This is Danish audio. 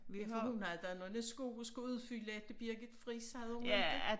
Ja for hun havde da nogle sko at skulle udfylde efter Birgit Friis havde hun ikke?